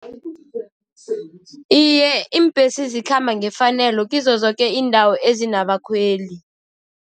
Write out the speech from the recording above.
Iye, iimbesi zikhamba ngefanelo kizo zoke iindawo ezinabakhweli.